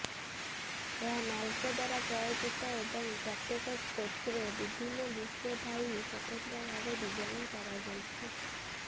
ଏହା ନାଲ୍କୋ ଦ୍ୱାରା ପ୍ରାୟୋଜିତ ଏବଂ ପ୍ରତ୍ୟେକ କୋଚ୍ରେ ଭିନ୍ନ ଦୃଶ୍ୟ ଥାଇ ସ୍ୱତନ୍ତ୍ର ଭାବେ ଡିଜାଇନ୍ କରାଯାଇଛି